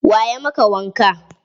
Wa ya maka wanka?